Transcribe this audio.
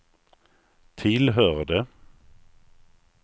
tillhörde